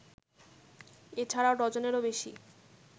এ ছাড়াও ডজনেরও বেশি